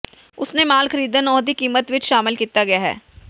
ਉਸ ਨੇ ਮਾਲ ਖਰੀਦਣ ਉਹ ਦੀ ਕੀਮਤ ਵਿੱਚ ਸ਼ਾਮਿਲ ਕੀਤਾ ਗਿਆ ਹੈ